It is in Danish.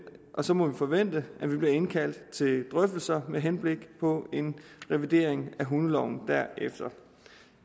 og så må vi forvente at vi bliver indkaldt til drøftelser med henblik på en revidering af hundeloven derefter